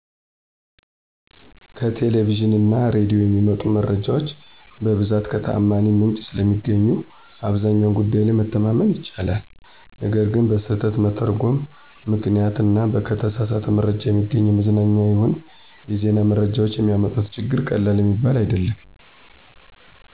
ከቴሌቪዥን እና ሬዲዮ የሚመጡ መረጃዎች በብዛት ከተዓማኒ ምንጭ ስለሚገኙ አብዛኛው ጉዳይ ላይ መተማመን ይቻላል። ነገር ግን በስህተት መተርጐም ምክንያት እና ከተሳሳት መረጃ የሚገኙ የመዝናኛም ይሁን የዜና መረጃዎች የሚያመጡት ችግር ቀላል የሚባል አይደለም።